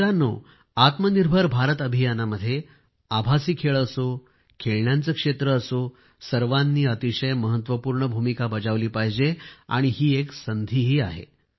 मित्रांनो आत्मनिर्भर भारत अभियानामध्ये आभासी खेळ असो खेळण्यांचे क्षेत्र असो सर्वांनी अतिशय महत्वपूर्ण भूमिका बजावली पाहिजे आणि ही एक संधीही आहे